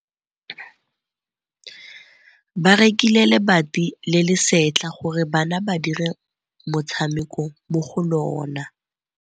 Ba rekile lebati le le setlha gore bana ba dire motshameko mo go lona.